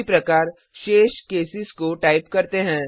उसी प्रकार शेष केसेस को टाइप करते हैं